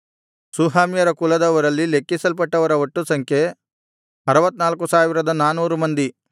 ಶೂಹಾಮ್ಯರ ಕುಲದವರಲ್ಲಿ ಲೆಕ್ಕಿಸಲ್ಪಟ್ಟವರ ಒಟ್ಟು ಸಂಖ್ಯೆ 64400 ಮಂದಿ